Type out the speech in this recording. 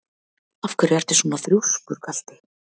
Af hverju ertu svona þrjóskur, Galti?